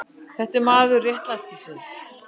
Þú ert maður réttlætisins.